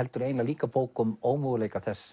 heldur líka bók um ómöguleika þess